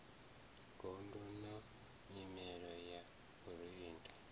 gondo na nyimele ya vhuendi